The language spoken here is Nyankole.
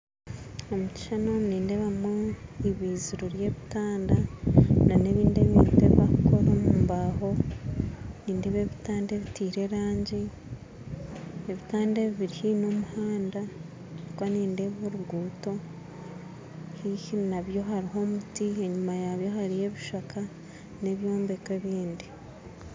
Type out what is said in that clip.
Omu kishuushani omu nindeebamu ibiziro ry'ebitanda n'ebintu ebindi ebibakukora omu baaho nindeeba ebitanda ebiteire erangi kandi biri haihi n'omuhanda ahabw'okuba nindeeba orungudo haihi nabwo hariho omuti enyima yaabyo hariyo ebishaaka n'ebyombeko ebindi